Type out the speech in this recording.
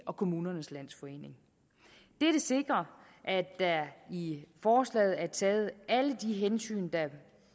og kommunernes landsforening dette sikrer at der i forslaget er taget alle de hensyn der